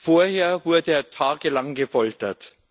vorher wurde er tagelang gefoltert.